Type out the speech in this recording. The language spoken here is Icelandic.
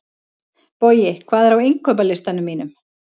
Bogi, hvað er á innkaupalistanum mínum?